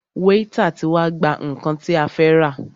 Wáítà tí wá gbà nnkan tí a fẹ́ rà.